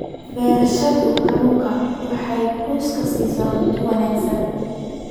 Beerashada kalluunka waxay qoyska siisaa cunto wanaagsan.